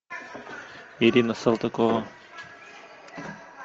ирина салтыкова